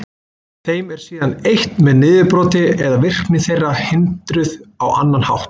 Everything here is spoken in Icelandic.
Þeim er síðan eytt með niðurbroti eða virkni þeirra hindruð á annan hátt.